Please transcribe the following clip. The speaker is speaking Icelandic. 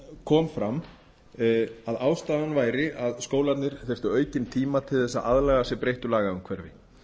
kom fram að ástæðan væri að skólarnir þyrftu aukinn tíma til að aðlaga sig breyttu lagaumhverfi